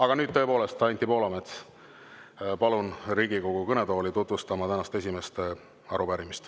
Aga nüüd tõepoolest kutsun Anti Poolametsa Riigikogu kõnetooli tutvustama tänast esimest arupärimist.